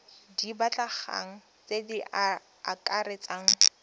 di batlegang tse di akaretsang